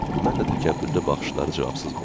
Mən də təkəbbürlü baxışları cavabsız qoydum.